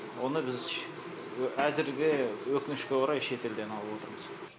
оны біз әзірге өкінішке орай шетелден алып отырмыз